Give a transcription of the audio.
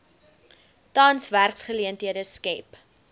tans werksgeleenthede skep